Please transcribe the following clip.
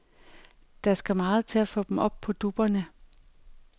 Der skal meget til at få dem op på dupperne.